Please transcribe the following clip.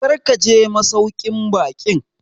Kar ka je masauƙin baƙin!